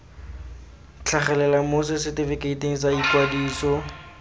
tlhagelela mo setefikeiting sa ikwadiso